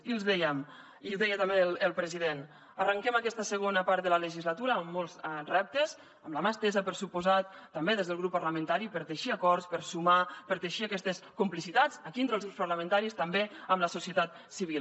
i els dèiem i deia també el president arranquem aquesta segona part de la legislatura amb molts reptes amb la mà estesa per descomptat també des del grup parlamentari per teixir acords per sumar per teixir aquestes complicitats aquí entre els grups parlamentaris també amb la societat civil